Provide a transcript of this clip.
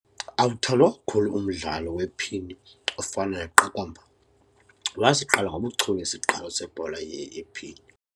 Awuthandwa kakhulu umdlalo wephini ofana neqakamba. wasiqala ngobuchule isiqalo sebhola yephini